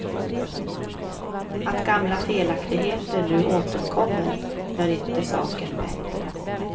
Att gamla felaktigheter nu återkommer gör inte saken bättre.